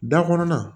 Da kɔnɔna